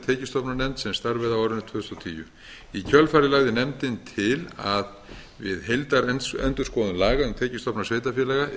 tekjustofnanefnd sem starfaði á árinu tvö þúsund og tíu í kjölfarið lagði nefndin til að við heildarendurskoðun laga um tekjustofna sveitarfélaga yrði